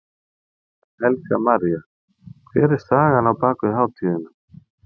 Helga María: Hver er sagan á bakvið hátíðina?